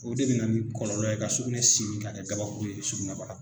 O de bɛ na ni kɔlɔlɔ ye sugunɛ simi ka kɛ kabakuru ye sugunɛbaga